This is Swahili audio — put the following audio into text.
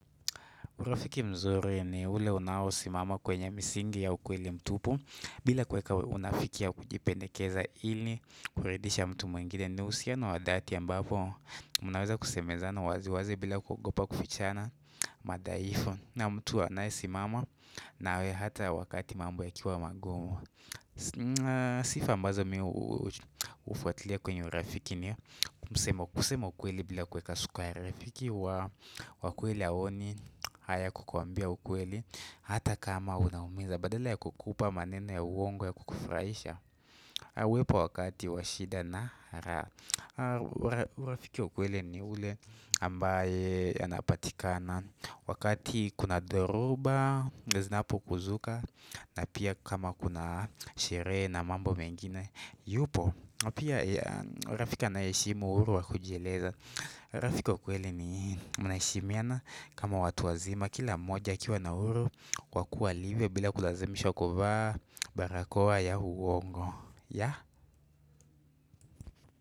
Urafiki mzuri ni ule unaosimama kwenye misingi ya ukweli mtupu, bila kuweka unafiki au kujipendekeza ili kumridhisha mtu mwingine, hata wakati ambapo mnaweza kusemezana wazi wazi bila kuogopa kufichana madhaifu, na mtu anayesimama nawe hata wakati mambo yakiwa magumu. Sifa ambazo mimi hufuatilia kwenye urafiki ni kusema ukweli bila kuweka sukari, urafiki wa kweli haoni haya kukuambia ukweli hata kama unauma, badala ya kukupa maneno ya uongo ya kukufurahisha. Wapo wakati wa shida, na rafiki wa kweli ni yule ambaye anapatikana wakati kuna dhoruba, matatizo yanapozuka, na pia kama kuna sherehe na mambo mengine yupo pia. Rafiki anayeheshimu uhuru wa kujieleza, rafiki wa kweli ni mnaheshimiana kama watu wazima, kila mmoja akiwa na uhuru wa kuwa alivyo bila kulazimishwa kuvaa barakoa ya uongo ya.